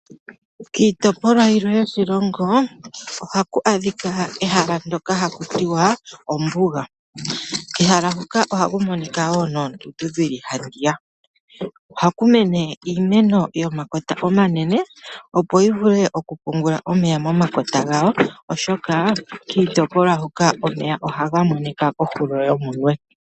Kiitopolwa yilwe yoshilongo ohaku adhika ehala ndyoka hakutiwa ombuga, kehala hoka ohaku monika woo noondundu dhili handiya, ohaku mene iimeno yomakota omanene opo yivule okupiungula omeya momakota gawo oshoka kiitopolwa hoka omeya ohaga monika kohulo yomunwe.